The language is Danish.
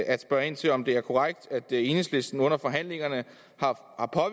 at spørge ind til om det er korrekt at enhedslisten under forhandlingerne